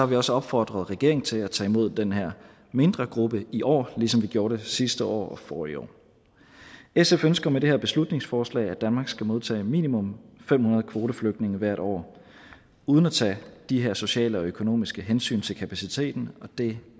vi også opfordret regeringen til at tage imod den her mindre gruppe i år ligesom vi gjorde det sidste år og forrige år sf ønsker med det her beslutningsforslag at danmark skal modtage minimum fem hundrede kvoteflygtninge hvert år uden at tage de her sociale og økonomiske hensyn til kapaciteten og det